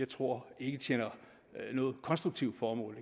tror tjener noget konstruktivt formål